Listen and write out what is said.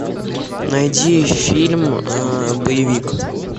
найди фильм боевик